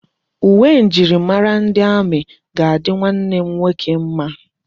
Uwe njirimara ndi amị ga-adị nwanne m nwoke mma.